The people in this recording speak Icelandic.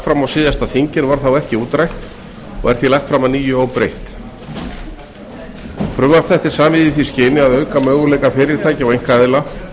fram á síðasta þingi en varð þá ekki útrætt og því lagt fram að nýju óbreytt frumvarp þetta er samið í því skyni að auka möguleika fyrirtækja og einkaaðila